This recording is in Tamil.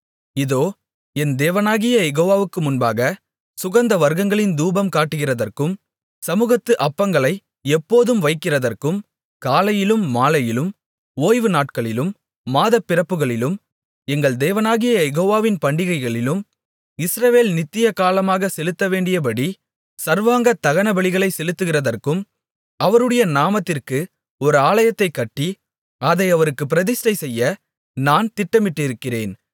இதோ என் தேவனாகிய யெகோவாவுக்கு முன்பாகச் சுகந்தவர்க்கங்களின் தூபம் காட்டுகிறதற்கும் சமுகத்து அப்பங்களை எப்போதும் வைக்கிறதற்கும் காலையிலும் மாலையிலும் ஓய்வு நாட்களிலும் மாதப்பிறப்புகளிலும் எங்கள் தேவனாகிய யெகோவாவின் பண்டிகைகளிலும் இஸ்ரவேல் நித்திய காலமாகச் செலுத்தவேண்டியபடி சர்வாங்கதகனபலிகளைச் செலுத்துகிறதற்கும் அவருடைய நாமத்திற்கு ஒரு ஆலயத்தைக் கட்டி அதை அவருக்குப் பிரதிஷ்டை செய்ய நான் திட்டமிட்டிருக்கிறேன்